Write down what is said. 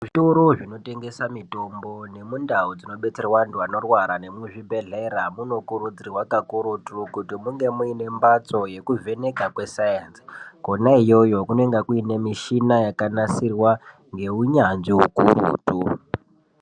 Zvitoro zvinotengesa mitombo nemundawu dzinodetserwa antu anorwara nemuzvibhedhlera munokurudzirwa kakurutu kuti munge muine mbatso yekuvheneka kwesainzi. Kwona iyoyo kunonga kuine mishina yakanasirwa ngeunyanzvi hukurutu.